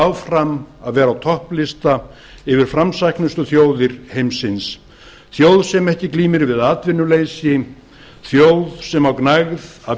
áfram að vera á topplista yfir framsæknustu þjóðir heimsins þjóð sem ekki glímir við atvinnuleysi þjóð sem á gnægð af